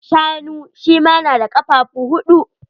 Shanu shi ma na da kafafu huɗu.